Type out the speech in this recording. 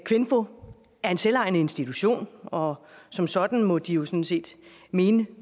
kvinfo er en selvejende institution og som sådan må de jo sådan set mene